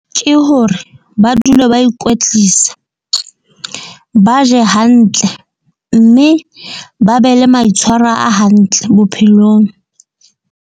Ke hore ba dule ba ikwetlisa, ba je hantle. Mme ba be le maitshwaro a hantle bophelong.